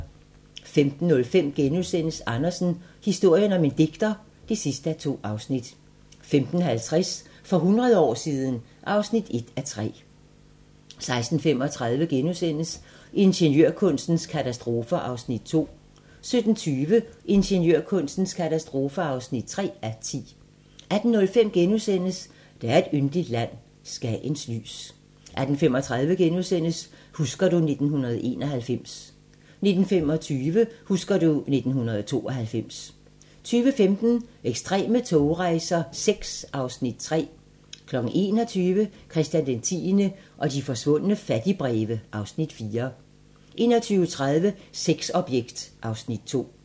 15:05: Andersen - historien om en digter (2:2)* 15:50: For hundrede år siden ... (1:3) 16:35: Ingeniørkunstens katastrofer (2:10)* 17:20: Ingeniørkunstens katastrofer (3:10) 18:05: Der er et yndigt land - Skagens lys * 18:35: Husker du ... 1991 * 19:25: Husker du ... 1992 20:15: Ekstreme togrejser VI (Afs. 3) 21:00: Christian 10. og de forsvundne fattigbreve (Afs. 4) 21:30: Sexobjekt (Afs. 2)